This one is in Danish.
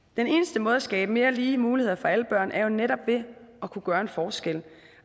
den eneste måde at skabe mere lige muligheder for alle børn på er jo netop ved at kunne gøre en forskel